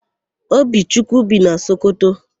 Obichukwu bi na Sokoto.